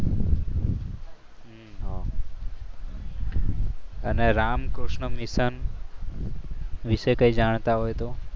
હમ અને રામકૃષ્ણ મિશન વિશે કઈ જાણતા હોય તો